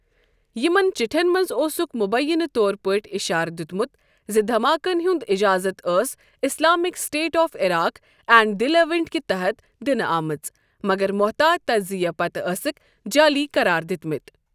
یِمَن چٹھیٚن منٛز اوسُکھ مبینہ طور پٲٹھۍ اِشارٕ دِتمُت زِ دھماکَن ہُنٛد اجازت ٲس Islamic State of Iraq and the Levant کہِ تحَت دِنہٕ آمٕژ، مگر محتاط تجزیہ پتہٕ أسِکھ جعلی قرار دِتمٕتۍ۔